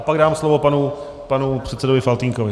A pak dám slovo panu předsedovi Faltýnkovi.